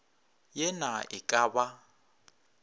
ye na e ka ba